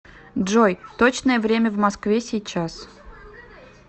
джой точное время в москве сейчас